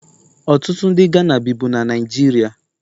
Ọtụtụ ndị Ghana bibu na Naịjirịa